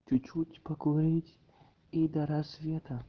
чуть-чуть покурить и до рассвета